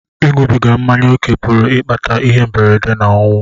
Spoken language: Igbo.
Ịṅụbiga mmanya ókè pụrụ ịkpata ihe mberede na ọnwụ.